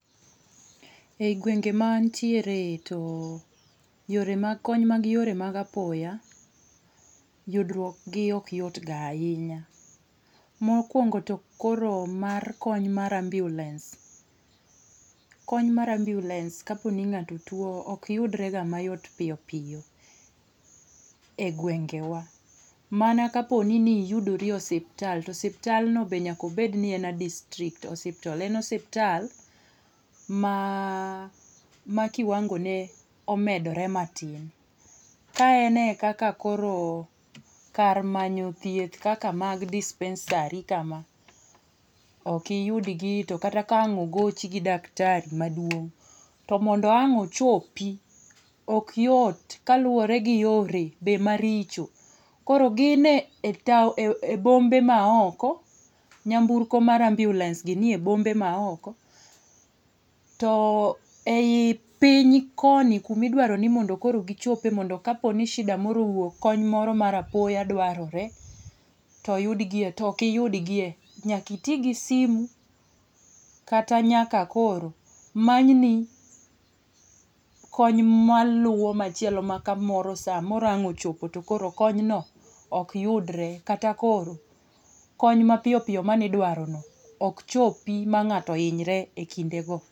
E gwenge ma antiere, to yore mag kony mag yore mag apoya ,yudruok gi ok yot ga ahinya. Mokwongo to koro mar kony mar ambulance. Kony mar ambulance kapo ni ng'ato tuwo ok yudrega mayot piyo piyo e gwengewa. Mana kapo ni niyudori e osiptal, to osiptalno be nyaka obedni en a district hospital. En osiptal ma kiwango ne omedore matin. Ka en e kaka koro kar manyo thieth kaka mag dispensary kama, ok iyudgi to kata ka ang' ogoch gi daktari maduong' to mondo ang' ochopi, ok yot kaluwore gi yore be maricho. Koro gi e bombe maoko, nyamburko mar ambulance gi nie bombe maoko, to ei piny koni kuma idwaro ni mondokoro gichope mondo kapo ni shida moro owuok, kony moro mar apoya dwarore, to oyudgie, to ok iyudgie, nyaka iti gi simu kata nyaka koro manyni kony maluwo machielo maka moro samoro ang' ochopo to koro konyno, ok yudre kata koro kony mapiyo piyo manidwarono ok chopi ma ng'ato hinyre e kindego.